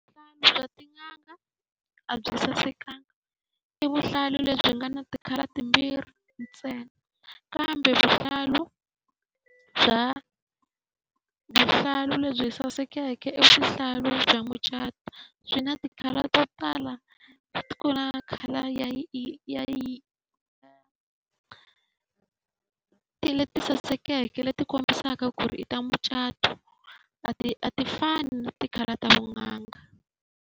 Vuhlalu bya tin'anga a byi sasekanga, i vuhlalu lebyi nga na ti-colour timbirhi ntsena kambe vuhlalu bya vuhlalu lebyi sasekeke i vuhlalu bya mucato, byi na ti-colour to tala. Ku na khale a ti leti sasekeke leti kombisaka ku ri i ta mucato. A ti a ti fani na ti-colour ta tin'anga.